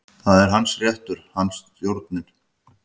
Það er hans réttur, hann er stjórinn.